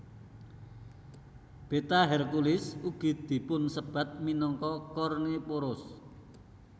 Beta Herculis ugi dipunsebat minangka Kornephoros